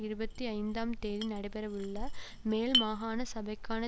இருபத்தி ஐந்தாம் தேதி நடைபெறவுள்ள மேல்மாகாண சபைக்கான